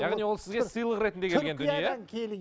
яғни ол сізге сыйлық ретінде келген түркиядан келген